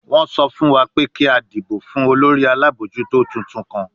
Wọ́n sọ fún wa pé kí a dìbò fún olórí alábòójútó tuntun kan